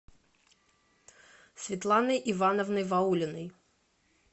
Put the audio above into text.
светланой ивановной ваулиной